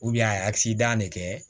a ye de kɛ